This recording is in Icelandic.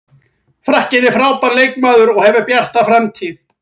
Frakkinn er frábær leikmaður og hefur bjarta framtíð.